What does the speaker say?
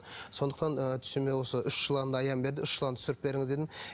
сондықтан ы түсіме осы үш жыланды аян берді үш жыланды түсіріп беріңіз дедім